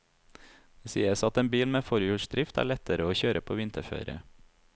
Det sies at en bil med forhjulsdrift er lettere å kjøre på vinterføre.